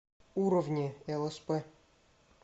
уровни лсп